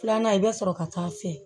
Filanan i bɛ sɔrɔ ka taa se